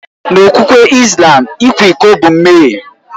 N'okpukpe Islam, ịkwa iko bụ mmehie.